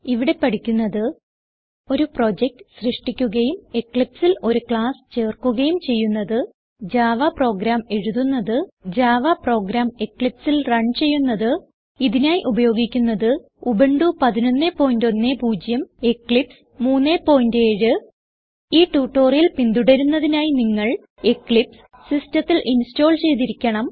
ഇവിടെ പഠിക്കുന്നത് ഒരു പ്രൊജക്ട് സൃഷ്ടിക്കുകയും Eclipseൽ ഒരു ക്ലാസ് ചേർക്കുകയും ചെയ്യുന്നത് ജാവ പ്രോഗ്രാം എഴുതുന്നത് ജാവ പ്രോഗ്രാം Eclipseൽ റൺ ചെയ്യുന്നത് ഇതിനായി ഉപയോഗിക്കുന്നത് ഉബുന്റു 1110 എക്ലിപ്സ് 37 ഈ ട്യൂട്ടോറിയൽ പിന്തുടരുന്നതിനായി നിങ്ങൾ എക്ലിപ്സ് സിസ്റ്റത്തിൽ ഇൻസ്റ്റോൾ ചെയ്തിരിക്കണം